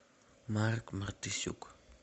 марк мартысюк